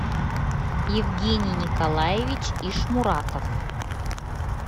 евгений николаевич ишмуратов